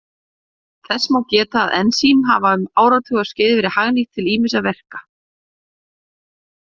Þess má geta að ensím hafa um áratugaskeið verið hagnýtt til ýmissa verka.